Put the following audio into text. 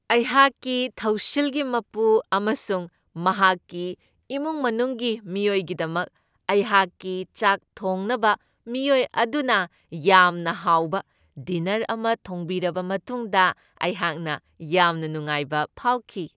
ꯑꯩꯍꯥꯛꯀꯤ ꯊꯧꯁꯤꯜꯒꯤ ꯃꯄꯨ ꯑꯃꯁꯨꯡ ꯃꯍꯥꯛꯀꯤ ꯏꯃꯨꯡ ꯃꯅꯨꯡꯒꯤ ꯃꯤꯑꯣꯏꯒꯤꯗꯃꯛ ꯑꯩꯍꯥꯛꯀꯤ ꯆꯥꯛ ꯊꯣꯡꯅꯕ ꯃꯤꯑꯣꯏ ꯑꯗꯨꯅ ꯌꯥꯝꯅ ꯍꯥꯎꯕ ꯗꯤꯅꯔ ꯑꯃ ꯊꯣꯡꯕꯤꯔꯕ ꯃꯇꯨꯡꯗ ꯑꯩꯍꯥꯛꯅ ꯌꯥꯝꯅ ꯅꯨꯡꯉꯥꯏꯕ ꯐꯥꯎꯈꯤ꯫